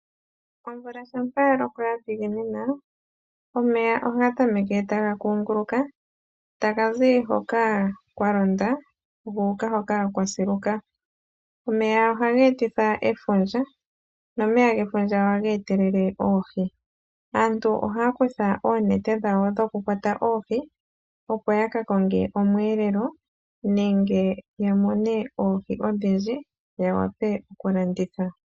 Omvula shampa ya loko ya dhiginina, omeya ohaga tameke taga kunguluka, taga zi hoka kwa londa, gu uka hoka kwa siluka. Omeya ohaga etitha efundja, nomeya gefundja ohaga etelele oohi. Aantu ohaa kutha oonete dhawo dhokukwata oohi, opo ya ka konge omweelelo nenge ya mone oohi odhindji, ya wape okulanditha.